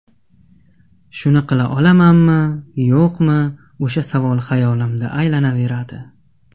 Shuni qila olamanmi, yo‘qmi, o‘sha savol xayolimda aylanaveradi.